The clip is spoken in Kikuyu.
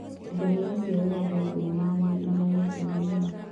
Ngahĩha cĩa wendo thinemainĩ nĩ irĩhete thĩĩna